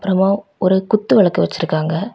அப்புறம் ஒரு குத்து விளக்கு வச்சிருக்காங்க.